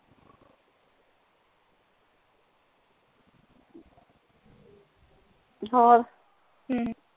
ਹੋਰ ਹਮ